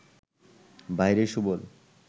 ভাইরে সুবল